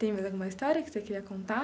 Tem mais alguma história que você queria contar?